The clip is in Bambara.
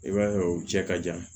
I b'a ye o cɛ ka jan